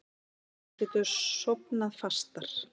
Hann getur sofnað fastar.